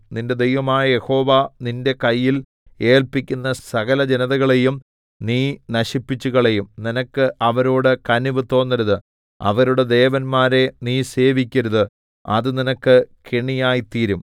നിന്റെ ദൈവമായ യഹോവ നിന്റെ കയ്യിൽ ഏല്പിക്കുന്ന സകലജനതകളെയും നീ നശിപ്പിച്ചുകളയും നിനക്ക് അവരോട് കനിവ് തോന്നരുത് അവരുടെ ദേവന്മാരെ നീ സേവിക്കരുത് അത് നിനക്ക് കെണിയായിത്തീരും